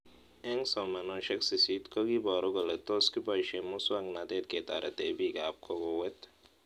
Eng' somanoshek sisit ko kiiparu kole tos kipoishe muswog'natet ketarete piik ab kokowet